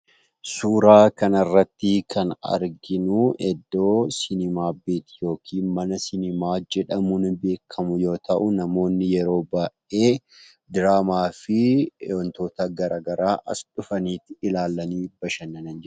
Suuraa kanarratti, kan arginu iddoo siimaapiti, yookiin mana siimaa jedhamuun beekamu yoo ta'u, namoonni yeroo baay'ee diraama fi wantoota garagaraa as, dhufani ilaalani bashannananidha.